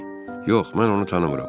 Yox, mən onu tanımıram.